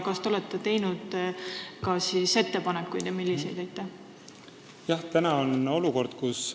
Kas te olete teinud ka omi ettepanekuid ja kui olete, siis milliseid?